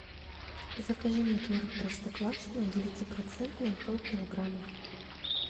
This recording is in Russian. закажи мне творог простоквашино девятипроцентный полкилограмма